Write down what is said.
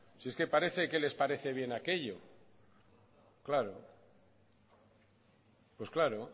si es que parece que les parece bien aquello claro pues claro